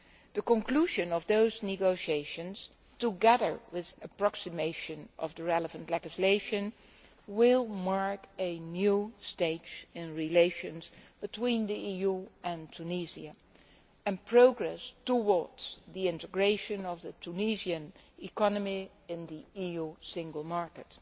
The conclusion of these negotiations, together with approximation of the relevant legislation, will mark a new stage in relations between the EU and Tunisia and progress towards the integration of the Tunisian economy in the EU single market.